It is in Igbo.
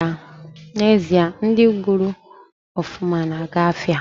Na ezie, ndi gwuru ofuma na aga afia